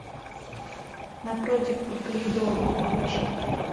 напротив по коридору включи